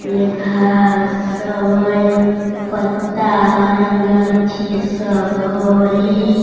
ले घास सब हई पत्ता हई गाछी सब हई।